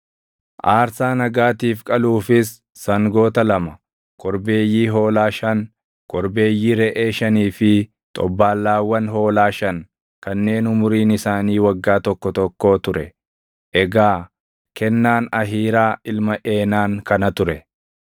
aarsaa nagaatiif qaluufis sangoota lama, korbeeyyii hoolaa shan, korbeeyyii reʼee shanii fi xobbaallaawwan hoolaa shan kanneen umuriin isaanii waggaa tokko tokkoo ture. Egaa kennaan Ahiiraa ilma Eenaan kana ture.